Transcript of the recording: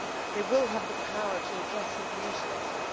they will have the power to address abuse better